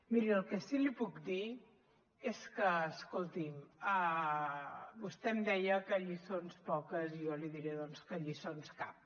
miri el que sí que li puc dir és que escolti’m vostè em deia que lliçons poques i jo li diré doncs que lliçons cap